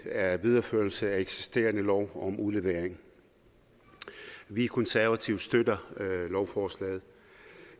er en videreførelse af eksisterende lov om udlevering vi konservative støtter lovforslaget